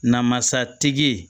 Namasatigi